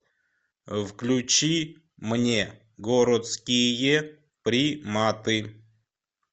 включи мне городские приматы